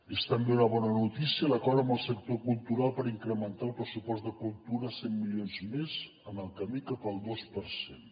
és també una bona notícia l’acord amb el sector cultural per incrementar el pressupost de cultura cent milions més en el camí cap al dos per cent